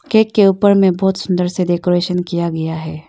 Cake के ऊपर में बहुत सुंदर से डेकोरेशन किया गया है।